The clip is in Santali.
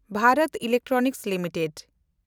ᱵᱷᱮᱱᱰᱚᱛ ᱤᱞᱮᱠᱴᱨᱚᱱᱤᱠᱥ ᱞᱤᱢᱤᱴᱮᱰ